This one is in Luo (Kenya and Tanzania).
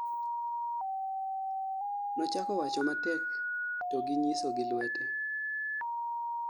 nochako wacho matek to gi ny'iso gi lwete